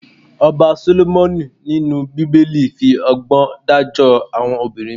Ọba Sólómọ́nì inú Bíbélì fi ọgbọ́n dájọ́ àwọn obìnrin méjì.